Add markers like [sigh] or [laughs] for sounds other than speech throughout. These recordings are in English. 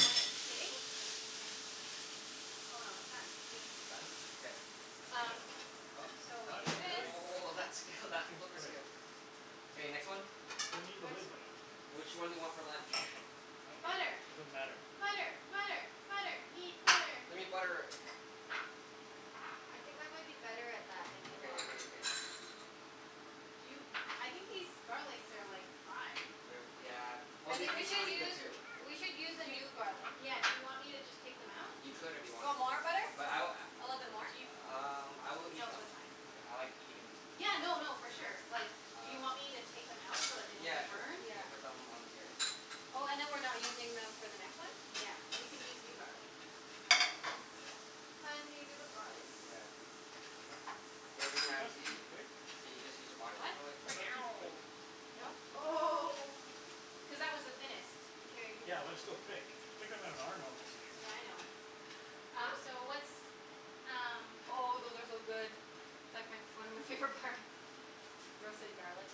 when it's sitting Oh no, it's done. Mm. It's done? K. Um, so What? Oh, we What, do this. really? oh, [noise] that skill, that That seems flipper quick. skill. K, next one. We need the Next lid, one. though. Which one do you want for lunch? I don't care. Butter. It doesn't matter. Butter! Butter! Butter! Need butter. We need butter. I think I might be better at that than you Okay are. okay okay. Do you, I think these garlics are like, fried. They're, yeah, well I they think we taste should really good use too. We should use a Do y- new garlic. yeah, do you want me to just take them out? You could if you You wanted. want more butter? But I w- A little bit more? Do yo- a- um I will eat No, them. that's fine. I Okay. like eating them. Yeah, no no, for sure. Like do you Um, y- want me to take them out so that they don't yeah get sure. burned? You Yeah. can put them on here. Oh, and then we're not using them for the next one? Yeah, we can use new garlic. Ah, okay. Hun? Do you do the garlic? Yeah. Gordon Was that Ramsay. too quick? So you just use a body [inaudible] What? Was that too quick? No? No? Oh. Cuz that was the thinnest. Here, you can get Yeah, but more that's from still here. thick. Thicker than our normal steaks. Yeah, I know. Huh? Um, so what's um Oh, those are so good. It's like my f- one of my favorite parts. Roasted garlic.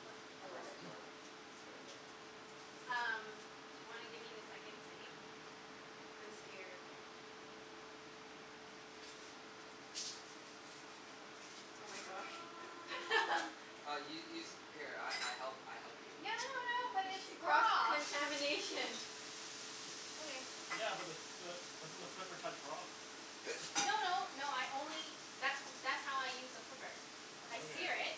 What I love it. Roasted [noise] garlic. It's really good. Um, do you wanna give me the second steak? I'm scared. Oh my gosh. [noise] [laughs] Uh u- use it, here I I help, I help you. No no no, but She, it's cross raw! contamination. Okay. Yeah, but the the, doesn't the flipper touch raw? No no, no [noise] I only that's w- that's how I use the flipper. I sear Okay. it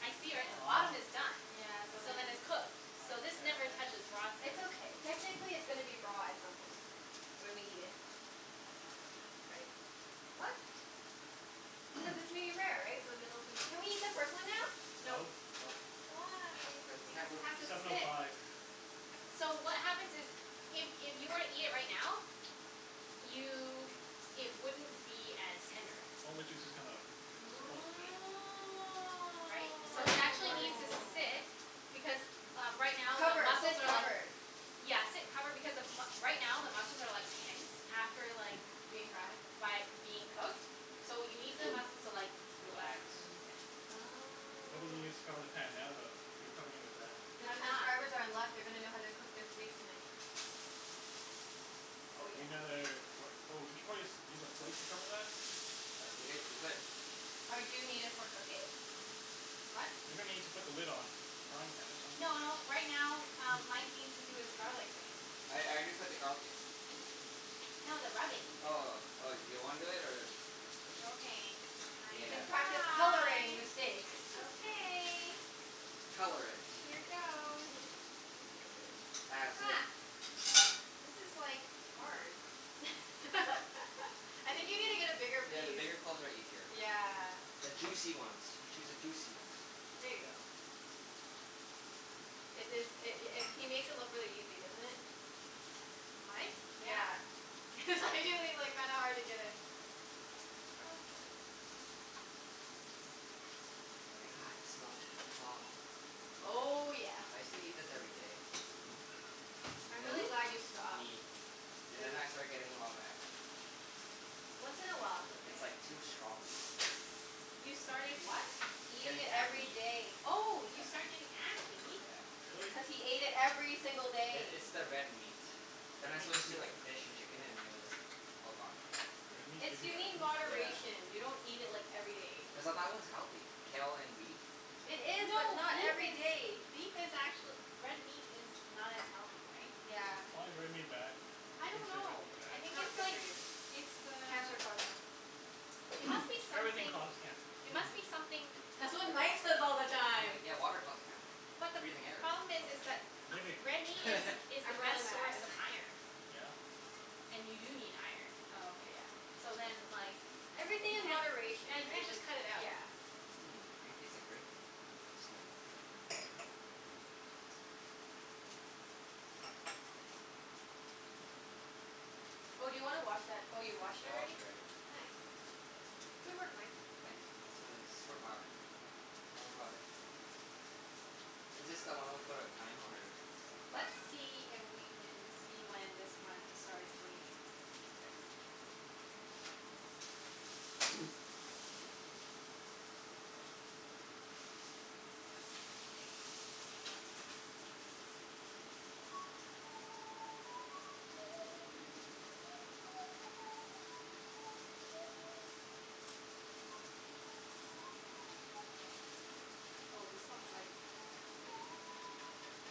I sear it. The bottom is uh-huh. done. Yeah, so So then then it's cooked. I So guess. this never touches raw side. It's okay. Technically it's gonna be raw at some point. When we eat it. Right? What? Cuz [noise] it's medium-rare, right? So the middle's gonna Can we eat the first one now? No. No. Nope. Why? Cuz the Because temper- it has to Seven oh sit. five. So what happens is if if you were to eat it right now you, it wouldn't be as tender. All the juices come out. Supposedly. Right? You're So it learning. You're actually learning. needs to sit Oh. because, uh right now the Covered. muscles Sit are like covered. Yeah, sit covered. Because the m- right now the muscles are like tense. After like Being fried? by being cooked. So you need the [noise] muscles to like, Relax. relax and loosen. Why don't Oh. you just cover the pan now though, if you're covering it with that? The I'm not. transcribers are in luck. They're gonna know how to cook their steaks tonight. Oh Do yeah. we need another, what? Oh, we should probably just use a plate to cover that? Uh, we h- we could. Or do you need it for cooking? What? You're gonna need to put the lid on, on the frying pan at some N- point, no, right? right now um [noise] Mike needs to do his garlic thing. I I Oh. did put the garlic in. No, the rubbing. Oh, oh. Do you wanna do it, or Okay, I You can can Yeah. practice coloring try. the steak. [laughs] Okay. Color it. Here goes. As Ha. if. This is like, hard. [laughs] [laughs] I think you need to get a bigger Yeah, piece. the bigger cloves are easier. Yeah. The juicy ones. Choose a juicy ones. There ya go. It is, it i- it he makes it look really easy, doesn't it? Mike? Yeah. Yeah. It's actually like kinda hard to get a grasp of it. Okay. Ah, I can smell it. Aw. Oh yeah. I used to eat this every day. And I'm then, really [inaudible] glad you stopped. me. And then Then I started getting a lot of acne. Once in a while it's okay. It's like, too strong, you know? You started what? Eating Getting it every acne. day. Oh, Yeah. you started getting acne? Yeah. Really? Cuz he ate it every single I- day. it's the red meat. Then I Red meat Yeah. switched gives to you like fish and chicken and it was all gone. Yeah. Red meat It's, gives you you need acne? Yeah. moderation. You don't eat it like, every day. Cuz I thought it was healthy, kale and beef. It is, but No, not beef every is, day. beef is actuall- Red meat is not as healthy, right? Yeah. Why is red meat bad? I I don't didn't say it know. wasn't I bad. It's think not it's good for like, you. it's the Cancer causing. it must be [noise] Everything something causes cancer. it must be [laughs] something That's what Mike says all the I'm time. like, yeah, water causes cancer. But the p- Breathing air problem is, causes is cancer. that Living. a- red meat is [laughs] is the I'm best rolling my source eyes. [laughs] of iron. Yeah. And you do need iron. Oh, okay. Yeah. So then, like Everything you in can't, moderation, yeah, you right? can't Like, just cut it out. yeah. Mmm, I can taste the grape skin. Oh, do you wanna wash that, oh you washed it I washed already? it already. Nice. Good work, Mike. Thanks. It's my super power. Don't worry about it. Is this the one we put on thyme, or Let's last one? see if we can see when this one starts bleeding. K. [noise] [noise] Oh, this one's like Ready? [noise]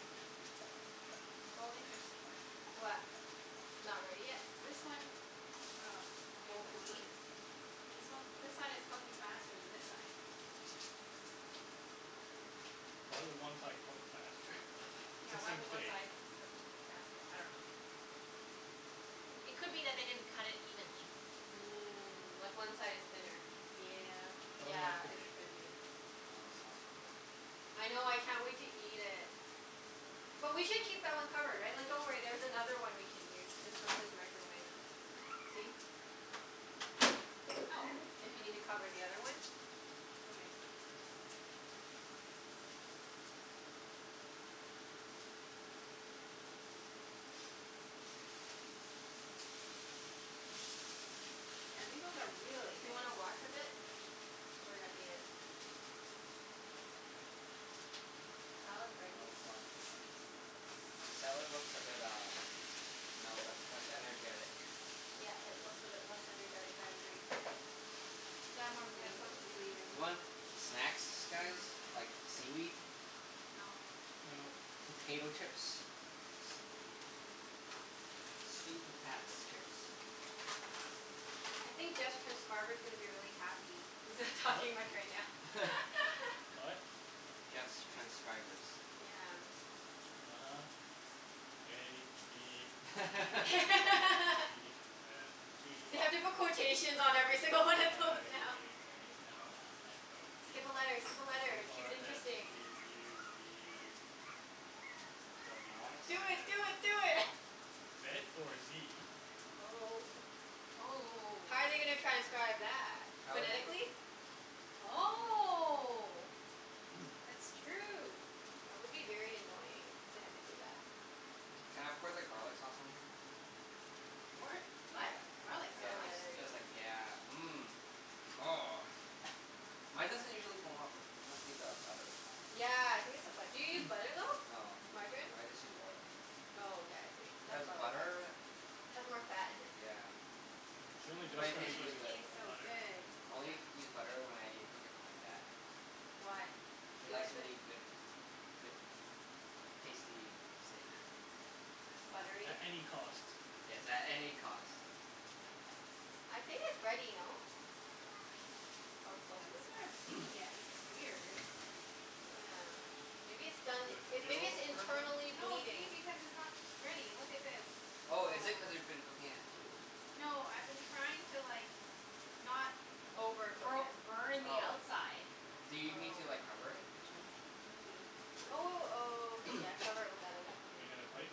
Oh, interesting. What? Not ready yet? This one, oh, [noise] I'm gonna Won't put this one bleed? This one, this side is cooking faster than this side. Why would one side cook faster? [laughs] It's Yeah, the why same would one steak. side cook faster? I dunno. It Hmm. could be that they didn't cut it evenly. Mm. Like one side is thinner. Yep. Oh yeah, Yeah, could it be. could be. Oh, it smells so good. I know. I can't wait to eat it. But we should keep that one covered, right? Like, don't worry, there's another one we can use just from his microwave. See? Oh. If you need to cover the other one. Okay. [noise] Yeah, these ones are really Do you thick. wanna wash a bit? Or are you at the end? We Salad's ready. can always wash at the end. The salad looks a bit uh, you know, le- less energetic. Yeah, it looks a bit less energetic. I agree. We can add more Yeah, green this to smells it really, then. really You want good. snacks, guys? Mmm. Like, seaweed? No. No. Potato chips? Sweet potats chips. I think Jeff's transcriber's gonna be really happy. He's not What? talking much right now. [laughs] [laughs] What? Jeff's transcribers. Yeah. uh-huh. A b c [laughs] d [laughs] e f p They have to put quotations h i j k l on m every n single one of those now. o p Skip a letter! Skip a q letter! Keep it r s t u interesting. v w I wanna x s- Do y it! zed. Do it! Do it! Zed or zee? Oh. Oh oh oh How oh. are they gonna transcribe that? How is it? Phonetically? I dunno. Oh. [noise] That's true. That would be very annoying if they had to do that. Can I pour the garlic sauce on here? G- what? Yeah, What? Garlic yeah, Oh sauce? yeah, just there ya because like, go. yeah. Mmm. Oh, mine doesn't [noise] usually foam up. Must be the butter. Yeah, I think it's the bu- do you use butter, [noise] though? No, Margarine? I just use oil. Oh, okay. I see. Cuz That's probably why. butter, Has more fat in it. yeah. She only True, But just it but started tastes and it really using good. b- tastes so butter. good. I only Yeah. use butter when I cook it for my dad. Why? He He likes likes really it? good good tasty steak. Buttery? At any cost. Yes, at any cost. I think it's ready, no? Or close It to it? hasn't started bleeding [noise] yet. This is weird. Yeah. Maybe it's done, Does it it, maybe it's feel firm, though? internally No, see? bleeding? Because it's not ready. Look at this. Oh, is it Yeah. cuz you've been cooking at two? No, I've been trying to like not Overcook bo- it. burning the Oh. outside. Do you need to Oh. like cover it or something? Maybe. Oh w- w- okay, yeah, [noise] cover it with that other thing. Need another plate?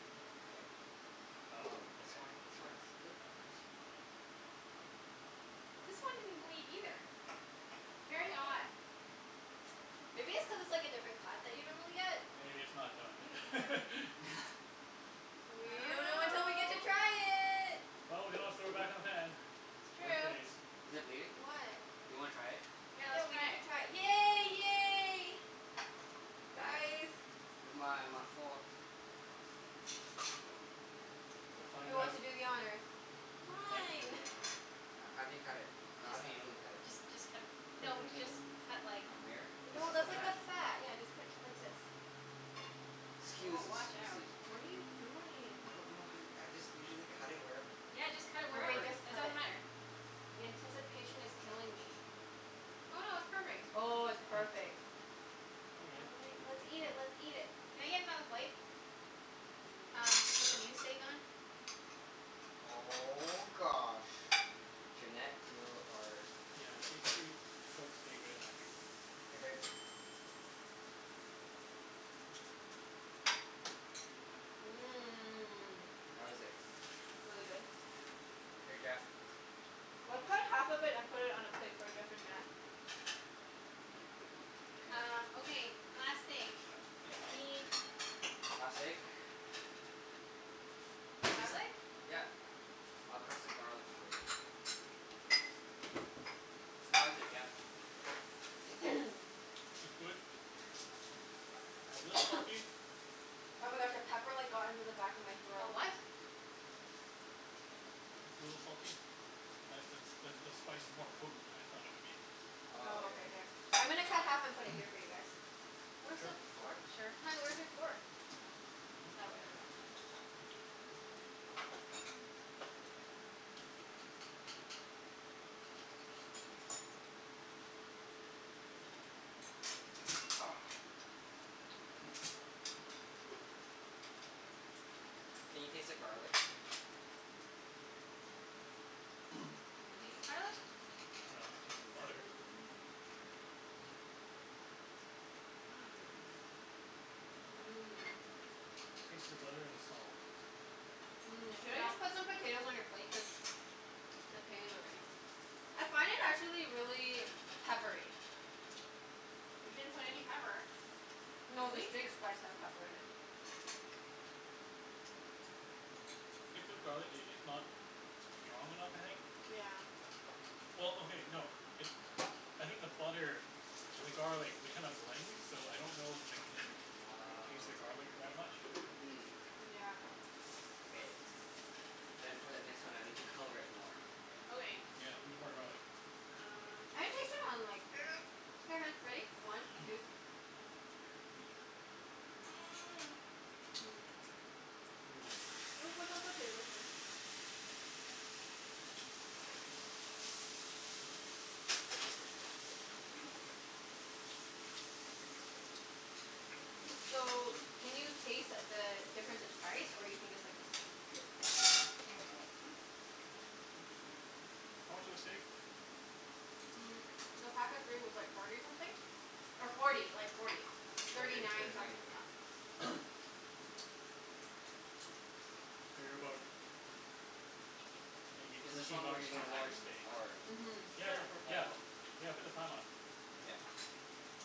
Yep. Oh, Oh, this okay. wine, this wine Sure, is good. that works. This one didn't bleed either. Very odd. uh-oh. Maybe it's cuz it's like a different cut that you normally get? Maybe it's not Maybe. done. [laughs] [laughs] We I don't know until don't we get to know. try it. Well, we can always throw it back in the pan. It's Worst true. case. Is it bleeding? Do Why? you wanna try it? Yeah, Yeah, let's we try need to it. try it. Yay! Yay! Guys. [inaudible] Where's my my fork? We'll Who find wants out. to do the honors? Mike can do the Fine. [noise] honors. H- how do you cut it? I How Just do you dunno. usually cut it? just just cut a p- Cut it No, through the just middle. cut like From here? This No, Oh, is this the that's is Yeah. new. like the fat. fat. Yeah, just cut t- like this. K. Woah, Scusi, watch out. scusi. What are you doing? I don't know, honey. I just usually cut it wherever. Yeah, just cut it Okay, wherever. just It cut doesn't it. matter. The anticipation is killing me. Oh no, it's perfect. Oh, it's Oh. perfect. Okay. I wanna, let's eat it, [noise] let's eat it. Can I get another plate? Mm. Um, to put the new steak on. Oh gosh, Junette, you're our Yeah, she she cooks steak better than I do. Here babe. Mmm. How is it? Really good. Here Jeff. Let's cut Ah. half of it and put All it on a right. plate for Jeff and Junette. Um, Okay. okay, last steak. Yeah. I need Last steak? Just, [noise] garlic. yep. I'll crush the garlics for you. How is it, Jeff? [noise] [noise] It's good. [noise] A little salty. [noise] Oh my gosh, a pepper like got into the back of my A throat. what? [noise] It's a little salty. That that the spice is more potent than I thought it would be. Oh Oh, yeah. okay. Here. I'm gonna cut half and put it here [noise] for you guys. Where's the Sure. fork? Sure. Hun, where's your fork? Ah, whatever. Let's just u- [noise] Oh. [noise] Can you taste the garlic? [noise] Can you taste the garlic? I dunno. I taste the butter. Mmm. Here you go. Mmm. Mmm. [noise] Taste the butter and the salt. Mmm. Should I just [noise] Yep. put some potatoes on your plate? Cuz potatoes are ready. I find it, actually, really peppery. We didn't put any pepper. No, Did the we? steak spice has pepper in it. [noise] Get through garlic, i- it's not [noise] strong enough, I think. Yeah. Well, okay, no. It I think the butter and the garlic, they kind of blend. So I don't know if I can taste the Oh. garlic that much. Mm. Yeah. Okay. Then for the next one I need to color it more. Okay. Yeah, needs more garlic. Um I can taste it on like Here, hun, ready? One two [noise] [noise] [noise] [noise] Mmm. Mmm. You wanna put some potatoes here? [noise] So, can you taste the difference in price, or you think it's like the same? I dunno. Hmm hmm hmm, how much was the steak? Mm, the pack of three was like forty something. Or forty. [inaudible] Like forty. Thirty Thirty thirty nine something, nine. yeah. [noise] Figure about [noise] maybe Is this thirteen one we're bucks using for a large thyme, steak. or [noise] Mhm. Yeah, go Sure. for it. Oh yeah, Yeah, cool. yeah, put the time on. Yep.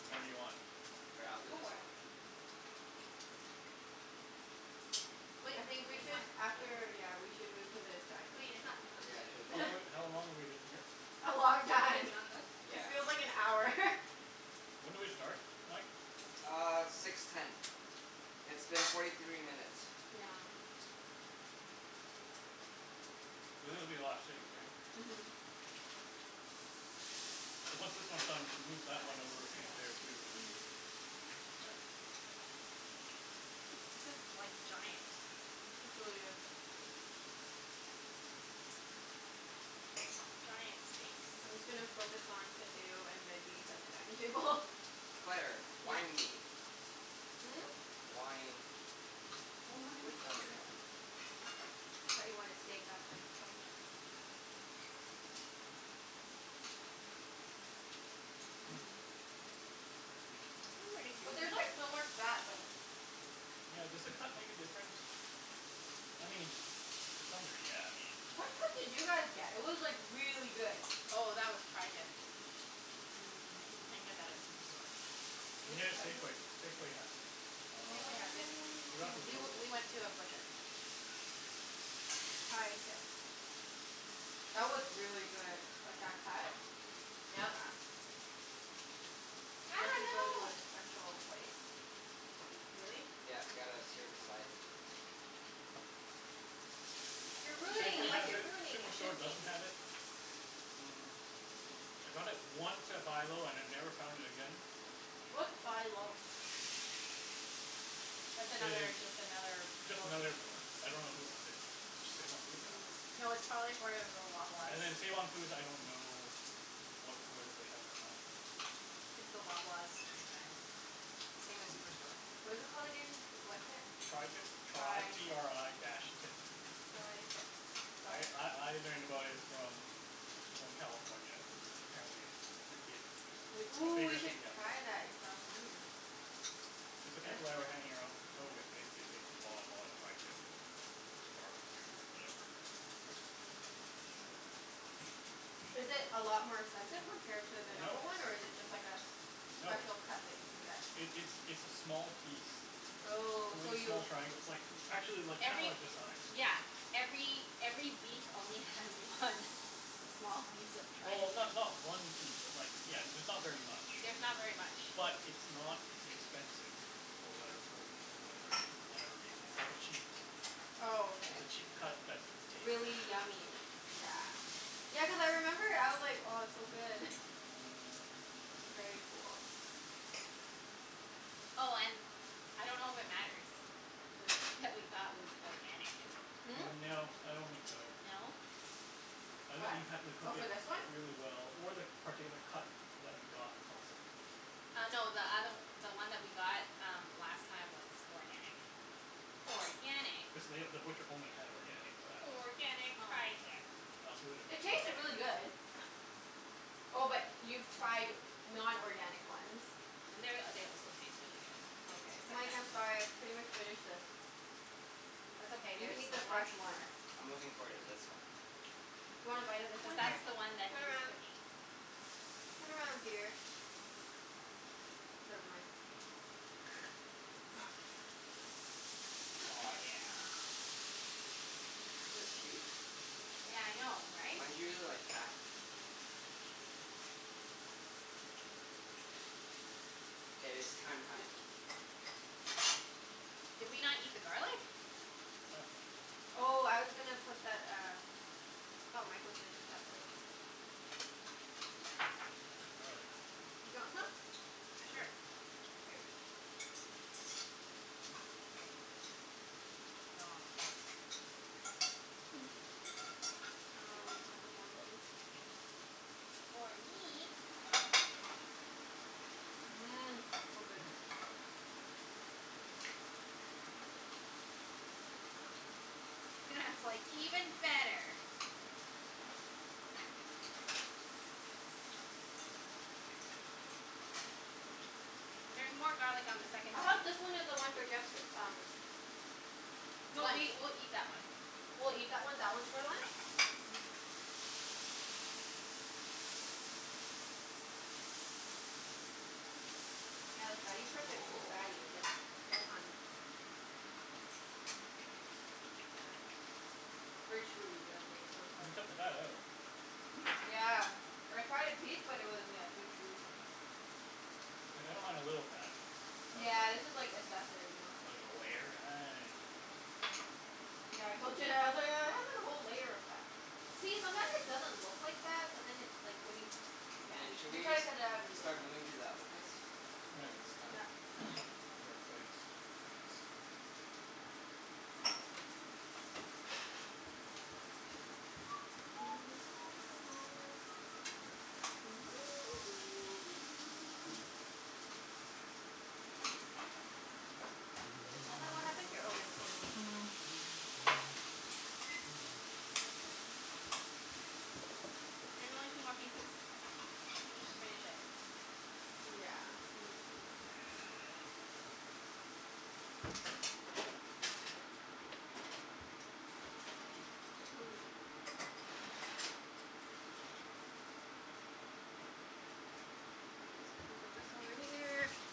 Whenever you want. Here, I'll do Go this for it. one. But I think we is should, that Yeah. after, yeah, we should move to the Wait, dining it's not Yeah, cooked I yet. should've How told long room her soon. have w- [laughs] to. how long have we been here? A long Even when time. it's not cooked? It Yeah. feels like an hour. [laughs] When did we start, Mike? Uh, six ten. It's been forty three minutes. Yeah. [noise] [noise] This is gonna [inaudible] be a lot of steak, Yeah. right? Mhm. [noise] Mhm. [noise] So once this one's done we can move that one over Nice. There to we go. there too, and Yeah. This is like, giant. It's really good. Giant steaks. I'm just gonna focus on potato and veggies at the dining table. Claire, Yeah. wine me. Hmm? Wine. More Wine. wine Which Oh one's okay, never yours [inaudible] mind. though? I got it. I thought you wanted steak. I was like, okay. [noise] [noise] Mmm. [noise] It's pretty But juicy. there's like so much fat though. Yeah, does the cut make a difference? I mean, to some degree, yeah. [noise] I mean What cut did you guys get? It was like really good. Oh, that was tri-tip. You can't Mmm. get that at Superstore. You can Where do get you it have at w- Safeway. Safeway has it. Safeway has it. Um We Oh. we went [inaudible] to a butcher. tri-tips. That was really good. Like, that cut. Yeah. Yep. You have Ah, to go to no. a special place. Really? Yeah, you gotta sear the sides and [noise] You're You [noise] ruining shouldn't it, Safeway need Mike, has to. you're it. ruining it. You Superstore shouldn't need doesn't to. have it. Mm I got it once at Buy Low and I never found it again. What's Buy Low? That's I- it's another, just another just grocery another store. I don't know who owns it. Is it Save on Foods? I Mm. [noise] Hmm. dunno. No, it's probably for [inaudible] Loblaws. And then Save on Foods, I don't know what, whether they have it or not. It's the Loblaws franchise. Same as Superstore. What is it called again? What tip? tri-tip. Tri t tri-tip. r i dash tip. tri-tip. I Got it. I I learned about it from people in California cuz apparently it's i- it's We, a ooh, we bigger should thing down there. try that in California. It's the [noise] people I were hanging arou- out with. They they they bought a lot of tri-tip. To barbecue or whatever. Yeah. Is it a lot more expensive compared to the Yeah, a No. normal one, or miss. is it just like a s- No. special cut that you can get? It it's it's a small piece. It's Oh, only so a small you triangle. It's like actually like, kinda Every like this size. Yeah, every every beef only has one small piece of tri- Well, ti- not not one piece, but like, yeah, it's not very much. There's not very much. But it's not expensive. For whatever wer- wer- whatever whatever reason. It's like a cheap Oh, okay. it's a cheap cut that's tasty. Really yummy. Yeah. Yeah, cuz I remember I was like, "Oh, it's so good." [laughs] Very cool. Oh and, I don't know if it matters the steak that we got was organic. Hmm? No, I don't think so. No? I think What? you happened to Oh, cook for it this one? really well or the particular cut that we got was also good. Uh no, the othe- the one that we got um last time was organic. Organic. Cuz they, the butcher only had organic for that one. Organic tri-tip. I also It tasted really good. [inaudible] [noise] Oh, but y- Yeah. you've tried non-organic ones? And they're, they also taste really good. Oh, They okay. taste like Mike, that I'm sorry. I've pretty much finished this. That's okay, You there's can eat the lots fresh one. more. I'm looking forward to this one. You wanna bite of this Cuz one? Here. [noise] that's the one that Turn he's around. cooking. Turn around, dear. Never mind. [noise] Oh, [laughs] yeah. This is huge. Yeah. Yeah, I know, right? Mine's usually like half K, it's thyme time. Did we not eat the garlic? Oh. [noise] Oh, I was gonna put that uh Thought Mike was gonna take that plate. We have garlic. [noise] Do you want some? Sure. Sure. [noise] Here. [noise] [noise] Great. Noms. [noise] [noise] Ah, I'll leave Mike with one Oh, piece. sorry. Or me. Mmm. So good. Mmm. Mmm. [laughs] That's like even better. There's more garlic on the [noise] second I hope this steak. one is the one for guests, um No, we lunch. we'll eat that one. [noise] We'll eat that one. That one's for lunch? Mhm. [noise] [noise] Yeah, the fatty parts are too fatty. [noise] It's like [inaudible] [noise] Let me take that out. Very chewy the the [inaudible] You part. can cut the fat out. Mhm. Yeah. I tried a piece but it was, yeah, too chewy for me. Like, I don't mind a little fat. [noise] But Yeah, this is like like assessive, you know? like a layer? I don't know. [noise] Yeah, I told Junette. I was like, "Oh, it has like a whole layer of fat." See? Sometimes it doesn't look like fat, but then it like, when you, yeah Hey, should you we try s- to cut it out and it start moving isn't to the other place? When this is [inaudible] done? Yeah. [noise] Yeah. move our plates. Thanks. [noise] [noise] K, it's Hun, almost what ready. happened to your, oh your coaster's right here. [noise] There's only two more pieces. You just [noise] finish it. Yeah, and then can you [noise] Just let me put this over here. [noise]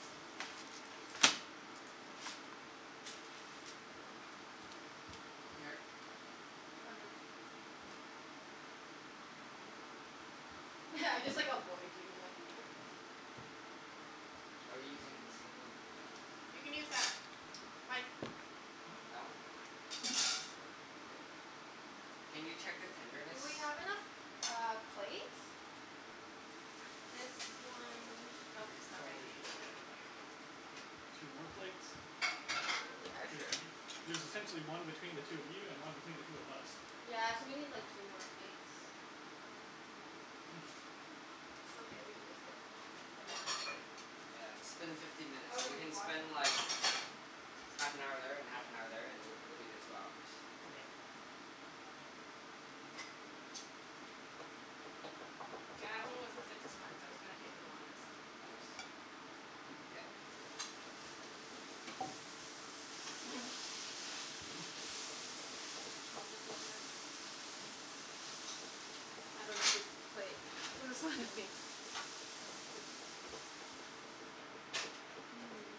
Here. Why, what [laughs] I just like avoid you. I'm like [noise] Are you using the same, [noise] oh You can use that. Mike. Hmm? That one? K. [noise] Can you check the tenderness? Do we have enough uh, plates? This one Nope, We it's not ready. probably should K. get like two more plates? I dunno. Yeah, Cuz sure. y- there's essentially one between the two of you and one between the two of us. Yeah, so we need like two more plates. [noise] It's okay, we can just get a non-plate. Yeah, it's been fifteen minutes. Oh So no, we he can washed spend like, it. half an hour there and Yeah. half an hour there, and th- that'll be the two hours. Okay. [noise] Yeah, that one was the sickest one so it's gonna take the longest. Longest? [noise] [noise] Oh, this is their I dunno whose plate this one would be. Mhm.